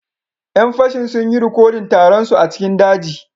Yan fashin sun yi rikodin taron su a cikin daji